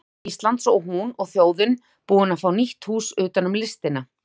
Listasafns Íslands og hún og þjóðin búin að fá nýtt hús utanum listina.